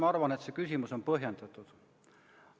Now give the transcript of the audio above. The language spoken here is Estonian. Ma arvan, et see küsimus on põhjendatud.